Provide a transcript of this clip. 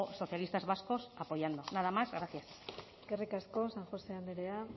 socialistas vascos apoyando nada más gracias eskerrik asko san josé andrea